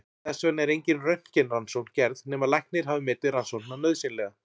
Þess vegna er engin röntgenrannsókn gerð nema læknir hafi metið rannsóknina nauðsynlega.